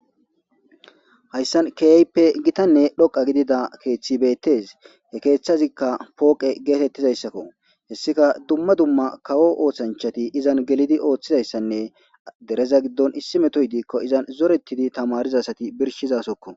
Hyssan keype gitanne dhoqa gidida keeththi beettes he keeththazikka pooqe geetettizayssakko hessika dumma dumma kawo oothanchati izan gelidi ooththizayssanne dereza giddon issi metoy diikko izan zorettidi tamarizasati birshizasokko.